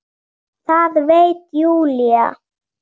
Það veit Júlía.